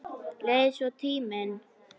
Leið svo tíminn.